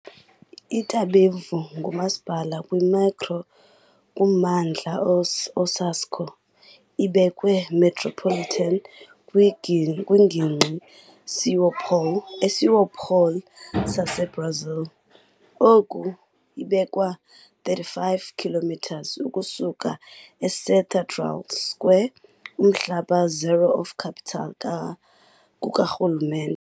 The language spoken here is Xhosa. Itapevi "ngumasipala" kwi "micro-kummandla Osasco", ibekwe "Metropolitan kwiNgingqi São Paulo", e "São Paulo", "saseBrazil". Oku ibekwe-35 km ukusuka eCathedral Square, umhlaba zero of capital kukarhulumente.